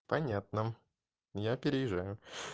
понятно я переезжаю